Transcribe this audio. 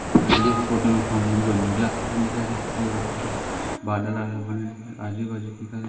मुझे इस फोटो में फैमिली को--